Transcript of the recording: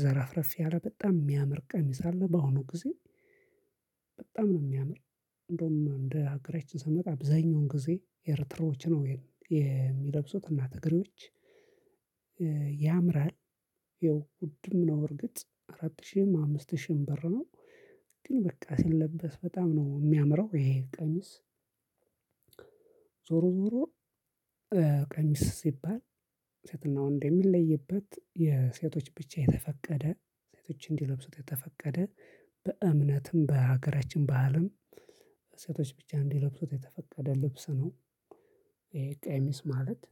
ዘረፍረፍ ያለ በጣም የሚያምር ቀሚስ አለ። በአሁኑ ጊዜ በጣም ነው የሚያምር። እንደውም እንደ ሀገራችን ስንመጣ አብዛኛውን ጊዜ ኤርትራዎች ነው የሚለብሱት እና ትግሬዎች። ያምራል ይኸው ውድም ነው እርግጥ አራት ሺህም አምስት ሺህም ብር ነው። ግን በቃ ሲለበስ በጣም ነው የሚያምረው ይሄ ቀሚስ። ዞሮ ዞሮ ቀሚስ ሲባል ሴትና ወንድ የሚለይበት የሴቶች ብቻ የተፈቀደ ሴቶች እንዲለብሱት የተፈቀደ በእምነትም በሀገራችን ባህልም ሴቶች ብቻ እንዲለብሱት የተፈቀደ ልብስ ነው። ይሄ ቀሚስ ማለት